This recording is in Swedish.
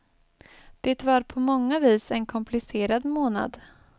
Det var på många vis en komplicerad månad.